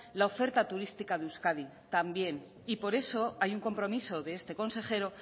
la oferta turística de euskadi también y por eso hay un compromiso de este consejero